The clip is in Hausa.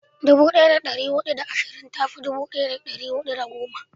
dubu daya da dari hudu da ashirin ta fi dubu daya da dari hudu da goma